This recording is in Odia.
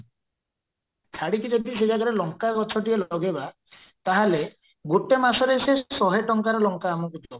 ଛାଡିକି ଯଦି ସେଇ ଜାଗାରେ ଲଙ୍କା ଗଛଟିଏ ଲଗେଇବା ତାହେଲେ ଗୋଟେ ମାସରେ ସେ ଶହେ ଟଙ୍କାର ଲଙ୍କା ଆମକୁ ଦବ